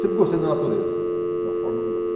Sempre gostei da natureza, de uma forma ou de outra.